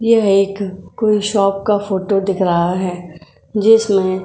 ये एक कोई शॉप का फोटो दिख रहा है जिसमें --